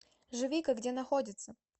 живика где находится